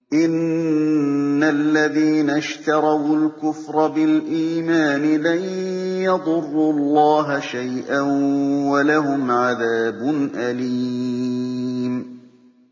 إِنَّ الَّذِينَ اشْتَرَوُا الْكُفْرَ بِالْإِيمَانِ لَن يَضُرُّوا اللَّهَ شَيْئًا وَلَهُمْ عَذَابٌ أَلِيمٌ